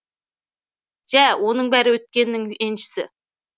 жә оның бәрі өткеннің еншісі